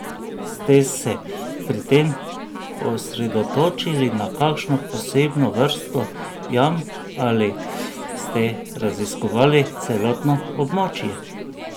Ste se pri tem osredotočili na kakšno posebno vrsto jam ali ste raziskovali celotno območje?